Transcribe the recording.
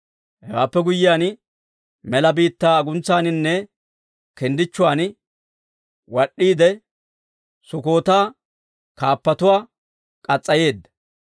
Hewaappe guyyiyaan, mela biittaa aguntsaaninne kinddichchuwaan wad'd'iide; Sukkoota kaappatuwaa k'as's'ayeedda.